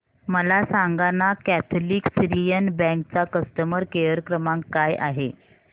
मला सांगाना Catholic Syrian Bank चा कस्टमर केअर क्रमांक काय आहे